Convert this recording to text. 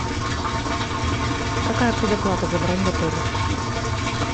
какая предоплата за бронь в отеле